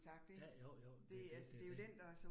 Ja, jo jo, men det det jo det